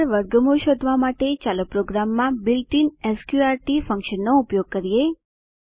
આગળ વર્ગમૂળ શોધવા માટે ચાલો પ્રોગ્રામમાં બિલ્ટઇન સ્ક્ર્ટ ફન્કશનનો ઉપયોગ કરીએ